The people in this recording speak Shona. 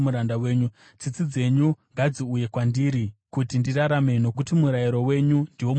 Tsitsi dzenyu ngadziuye kwandiri kuti ndirarame, nokuti murayiro wenyu ndiwo mufaro wangu.